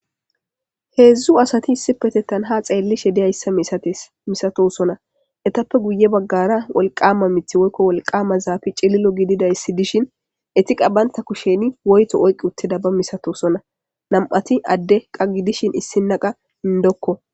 3 asat issippetethan ha xelishe diyaysa misatosona, hetappe guye bagara wolqama mithay woy wolqama zafet cililo gididaysa gidishn ent banta kushen woyto oyk utidaysa masatosona. Man'at Ade gidishn issina qas indokko.